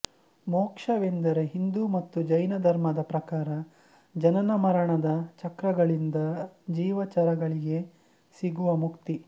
ಮೋಕ್ಷವೆಂದರೆ ಹಿಂದೂ ಮತ್ತು ಜೈನ ಧರ್ಮದ ಪ್ರಕಾರ ಜನನಮರಣದ ಚಕ್ರಗಳಿಂದ ಜೀವಚರಗಳಿಗೆ ಸಿಗುವ ಮುಕ್ತಿ